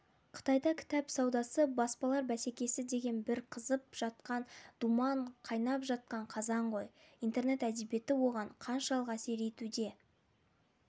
қытайда кітап саудасы баспалар бәсекесі деген бір қызып жатқан думан қайнап жатқан қазан ғой интернет әдебиеті оған қаншалық әсер етуде